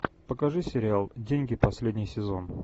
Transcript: покажи сериал деньги последний сезон